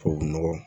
Tubabu nɔgɔ